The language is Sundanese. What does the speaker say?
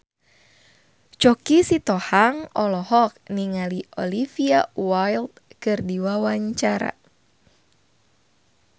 Choky Sitohang olohok ningali Olivia Wilde keur diwawancara